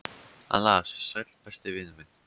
Hann las: Sæll, besti vinur minn.